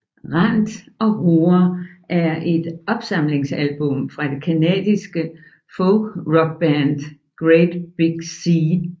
Rant and Roar er et opsamlingsalbum fra det canadiske folkrockband Great Big Sea